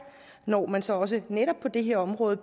når man så også netop på det her område